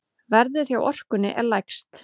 Verðið hjá Orkunni er lægst.